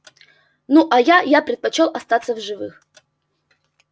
ну а я я предпочёл остаться в живых